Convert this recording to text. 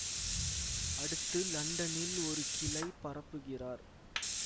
அடுத்து லண்டனில் ஒரு கிளை பரப்புகிறார்